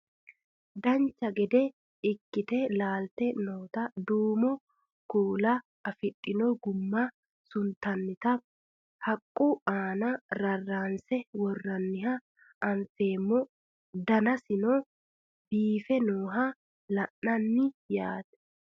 Dancha gede ikkite laalte noota duumo kuula afidhino gumma suntoonnita haqqu aana rarraanse worroonniha anfeemmo danasino biife nooha la'nanni yaate